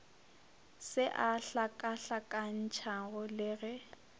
se a hlakahlakantšha le ge